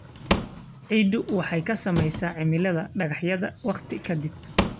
Ciiddu waxay ka samaysaa cimilada dhagaxyada waqti ka dib.